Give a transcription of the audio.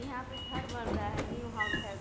यहाँ पर घर बन रहा है न्यू घर है।